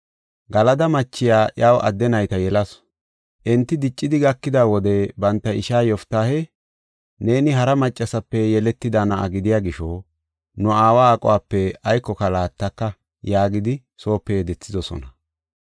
Galada machiya iyaw adde nayta yelasu. Enti diccidi gakida wode banta ishaa Yoftaahe, “Neeni hara maccasape yeletida na7a gidiya gisho nu aawa aquwape aykoka laattaka” yaagidi soope yedethidosona.